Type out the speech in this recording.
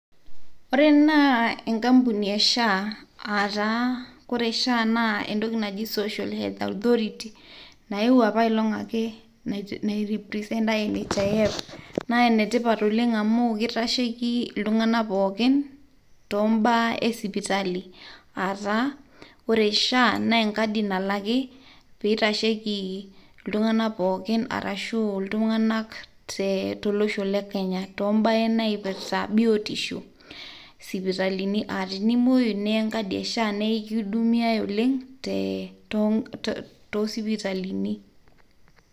Ore ene na enkampuni e SHA, aa ore SHA na entoki naji "Social Health Authority", nayieu apaelong' ake, nairepresenta NHIF. Ene tipat oleng' amu kitasheki iltung'ana pookin, toombaa esipitali, aa taa ore SHA na enkadi nalaki, pee itasheki iltung'anak pooki tolosho le Kenya toombaa naipirta biotisho. Tenimuoyu niya enkadi e SHA nekihudumiai oleng' toosipitalini